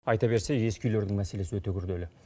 айта берсе ескі үйлердің мәселесі өте күрделі